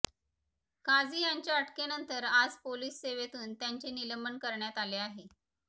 काझी यांच्या अटकेनंतर आज पोलिस सेवेतून त्यांचे निलंबन करण्यात आले आहे